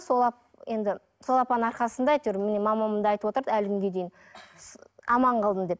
енді сол апаның арқасында әйтеуір міне мамам да айтып отырады әлі күнге дейін аман қалдым деп